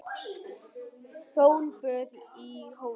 Sólböð í hófi.